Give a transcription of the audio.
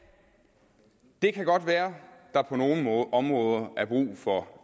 det kan godt være at der på nogle områder er brug for